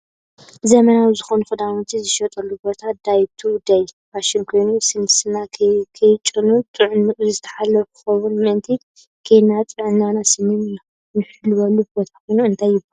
ዘመናዊ ዝኮኑ ክዳውንቲዝሽየጠሉ ቦታ ዳይ ቱ ደይ ፋሽን ኮይኑ ስንና ከይጨኑን ጥዕኑኡ ዝተሓለወ ክከውን ምእንትን ከይድና ጥዕና ስንን ንሕልወሉ ቦታ ኮይኑ እንታይ ይብሃል?